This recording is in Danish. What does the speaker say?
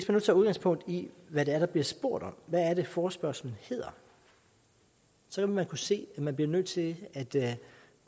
nu tager udgangspunkt i hvad der bliver spurgt om hvad forespørgslen hedder så vil man kunne se at man bliver nødt til at